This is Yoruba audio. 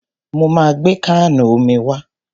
Mo ma gbé káànù omi wá.